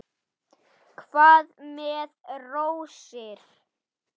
Hvað með rósir?